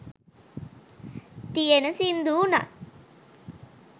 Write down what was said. තියෙන සිංදු වුනත්